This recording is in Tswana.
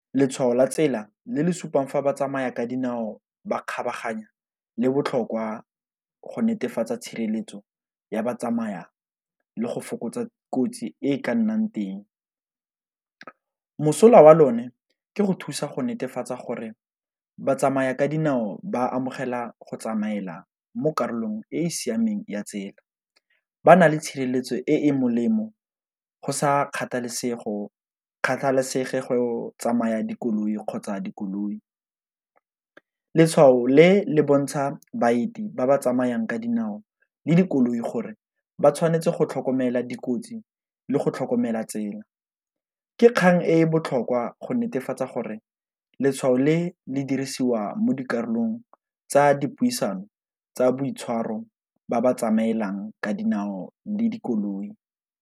Letshwao la tsela le le supang fa batsamaya ka dinao ba kgabaganya le botlhokwa go netefatsa tshireletso ya batsamaya le go fokotsa kotsi e ka nnang teng. Mosola wa lone ke go thusa go netefatsa gore batsamaya ka dinao ba amogela go tsamaela mo karolong e e siameng ya tsela, ba na le tshireletso e e molemo go sa kgathalesege go tsamaya dikoloi kgotsa dikoloi. Letshwao le le bontsha baeti ba ba tsamayang ka dinao le dikoloi gore ba tshwanetse go tlhokomela dikotsi le go tlhokomela tsela. Ke kgang e e botlhokwa go netefatsa gore letshwao le le dirisiwa mo dikarolong tsa dipuisano tsa boitshwaro ba ba tsamaelang ka dinao le dikoloi.